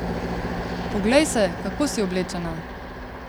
Poglej se, kako si oblečena?